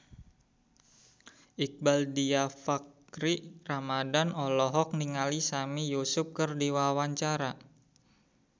Iqbaal Dhiafakhri Ramadhan olohok ningali Sami Yusuf keur diwawancara